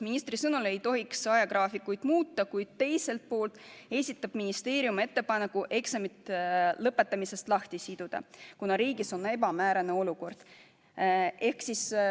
Ministri sõnul ei tohiks ajagraafikuid muuta, kuid teiselt poolt esitab ministeerium ettepaneku eksamid lõpetamisest lahti siduda, kuna riigis on ebamäärane olukord.